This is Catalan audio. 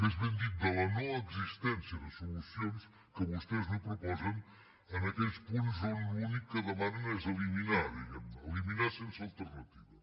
més ben dit de la no existència de solucions que vostès no proposen en aquells punts on l’únic que demanen és eliminar diguem ne eliminar sense alternativa